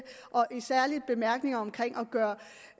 og en særlig bemærkning om